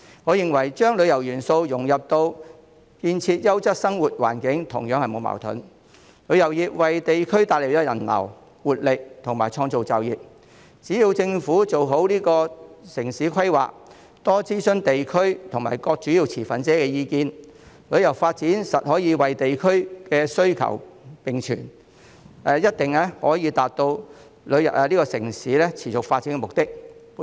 我認為將旅遊元素融入建設優質生活環境同樣並無矛盾，旅遊業為地區帶來人流、活力和創造就業，只要政府做好城市規劃，多諮詢地區及各主要持份者的意見，旅遊發展可以與地區需求並存，一定可以達到城市持續發展的目的。